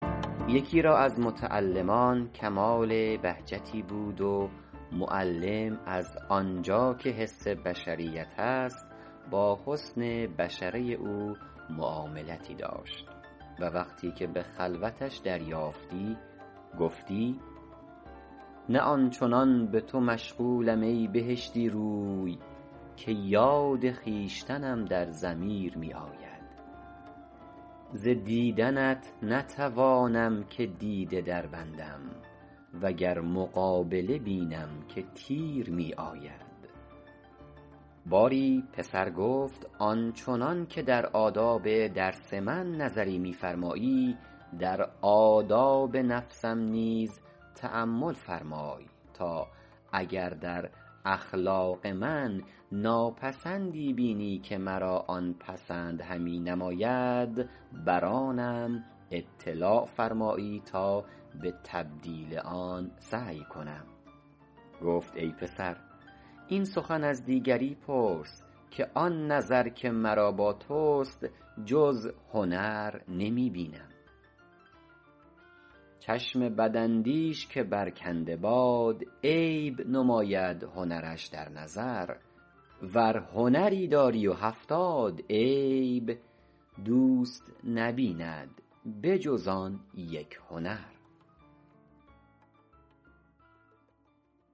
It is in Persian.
یکی را از متعلمان کمال بهجتی بود و معلم از آن جا که حس بشریت است با حسن بشره او معاملتی داشت و وقتی که به خلوتش دریافتی گفتی نه آن چنان به تو مشغولم ای بهشتی روی که یاد خویشتنم در ضمیر می آید ز دیدنت نتوانم که دیده دربندم و گر مقابله بینم که تیر می آید باری پسر گفت آن چنان که در آداب درس من نظری می فرمایی در آداب نفسم نیز تأمل فرمای تا اگر در اخلاق من ناپسندی بینی که مرا آن پسند همی نماید بر آنم اطلاع فرمایی تا به تبدیل آن سعی کنم گفت ای پسر این سخن از دیگری پرس که آن نظر که مرا با توست جز هنر نمی بینم چشم بداندیش که برکنده باد عیب نماید هنرش در نظر ور هنری داری و هفتاد عیب دوست نبیند به جز آن یک هنر